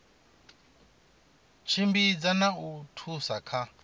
tshimbidza na u thusa kha